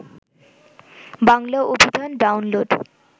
বাংলা অভিধান ডাউনলোড